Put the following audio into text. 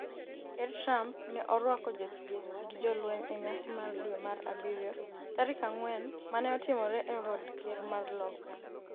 Ker Trump ne orwako jothieth gi jolweny e nyasi mar dwe mar abiriyo tarik ang'wen mane otimore e od ker mar Loka